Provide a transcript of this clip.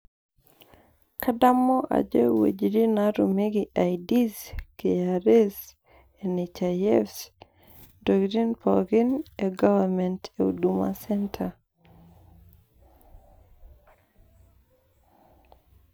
kadamu ajo iwuejitin naatumieki IDs, kra, nhif, intokitin pookin e government e huduma center.